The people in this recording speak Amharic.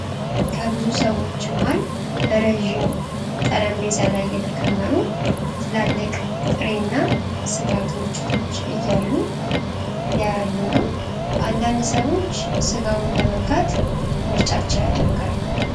ከብዙ ሰዎች መሃል በረዥም ጠረጴዛ ላይ የተከመሩ ትላልቅ ጥሬ እና ሥጋ ክምችቶች እያሉ ያያሉ ነው፡፡ አንዳንድ ሰዎች ሥጋውን በመንካት ምርጫቸውን ያደርጋሉ።